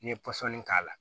N'i ye pɔsɔni k'a la